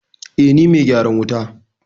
Eh, ni me gyaran wuta